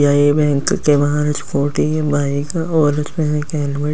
यहां ये बैंक के बाहर बाइक और हेलमेट --